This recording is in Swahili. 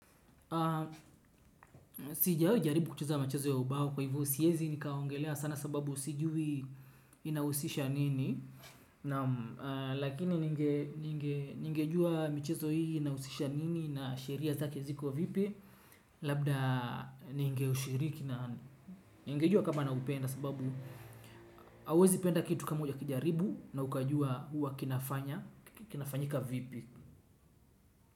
Sijawahi jaribu kucheza michezo ya ubao kwa hivyo siwezi nikaongelea sana sababu sijui inahusisha nini, lakini ningejua michezo hii inahusisha nini na sheria zake ziko vipi labda ningeushiriki na ningejua kama naupenda sababu hauwezi penda kitu kama hujakijaribu na ukajua huwa kinafanya kinafanyika vipi.